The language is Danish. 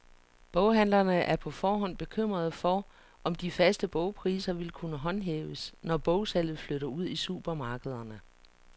Boghandlerne er på forhånd bekymrede for, om de faste bogpriser vil kunne håndhæves, når bogsalget flytter ud i supermarkederne.